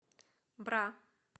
бра